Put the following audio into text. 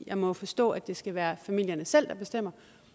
jeg må forstå at det skal være familierne selv der bestemmer